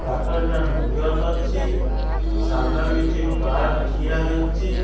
ପାଖରେ ଦିଟା ଗଛ ଅଛି ସାମ୍ନାରେ କିଛି କାର ଠିଆ ହେଇଚି।